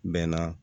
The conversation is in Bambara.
Bɛnna